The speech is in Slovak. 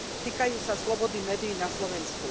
Týkajú sa slobody médií na Slovensku.